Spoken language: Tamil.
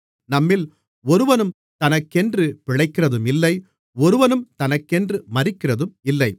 நம்மில் ஒருவனும் தனக்கென்று பிழைக்கிறதும் இல்லை ஒருவனும் தனக்கென்று மரிக்கிறதும் இல்லை